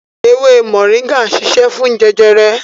Ewé moringa ń ṣiṣẹ́ fún jẹjẹrẹ